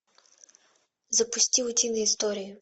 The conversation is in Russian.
запусти утиные истории